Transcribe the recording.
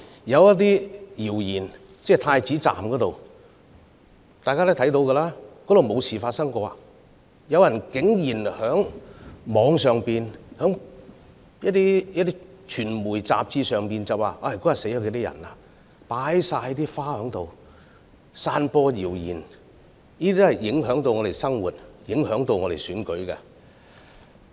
有關太子站的謠言，大家皆知道，站內根本沒有事情發生，但竟然有人在網上及傳媒雜誌上散播謠言，指當天站內有若干人士死亡，因此該處擺滿鮮花。